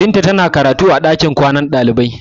Binta tana karatu a ɗakin kwanan ɗalibai.